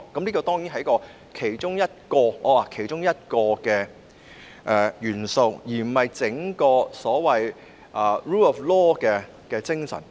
這當然只是其中一項元素，而非 rule of law 的整體精神。